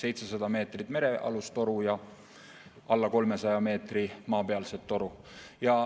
700 meetrit merealust toru ja veidi alla 300 meetri maapealset toru.